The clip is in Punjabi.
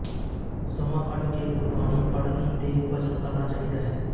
ਸਮਾਂ ਕੱਢ ਕੇ ਗੁਰਬਾਣੀ ਪੜ੍ਹਣੀ ਤੇ ਭਜਨ ਕਰਨਾ ਚਾਹੀਦਾ ਹੈ